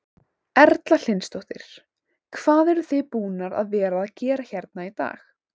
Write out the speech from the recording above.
Erla Hlynsdóttir: Hvað eruð þið búnar að vera að gera hérna í dag?